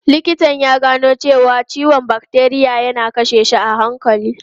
Likitan ya gano cewa ciwon bakteriya yana kashe shi a hankali.